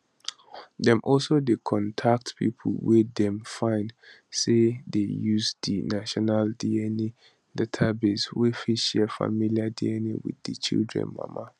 dem also dey contact pipo wey dem find say dey use di national dna database wey fit share familiar dna wit di children mama